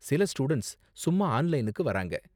சில ஸ்டூடண்ட்ஸ் சும்மா ஆன்லைனுக்கு வராங்க.